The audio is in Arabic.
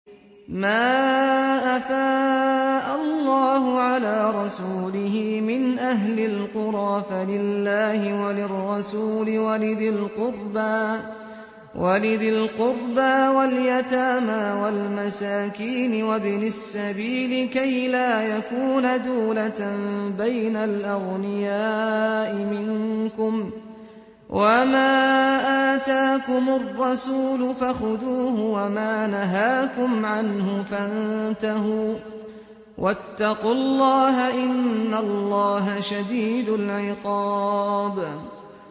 مَّا أَفَاءَ اللَّهُ عَلَىٰ رَسُولِهِ مِنْ أَهْلِ الْقُرَىٰ فَلِلَّهِ وَلِلرَّسُولِ وَلِذِي الْقُرْبَىٰ وَالْيَتَامَىٰ وَالْمَسَاكِينِ وَابْنِ السَّبِيلِ كَيْ لَا يَكُونَ دُولَةً بَيْنَ الْأَغْنِيَاءِ مِنكُمْ ۚ وَمَا آتَاكُمُ الرَّسُولُ فَخُذُوهُ وَمَا نَهَاكُمْ عَنْهُ فَانتَهُوا ۚ وَاتَّقُوا اللَّهَ ۖ إِنَّ اللَّهَ شَدِيدُ الْعِقَابِ